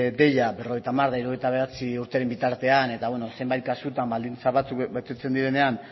deia berrogeita hamar hirurogeita bederatzi urteren bitartean eta zenbait kasutan baldintza batzuk betetzen direnean